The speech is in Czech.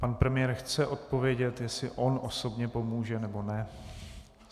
Pan premiér chce odpovědět, jestli on osobně pomůže, nebo ne.